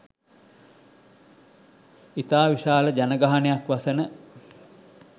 ඉතා විශාල ජනගහනයක් වසන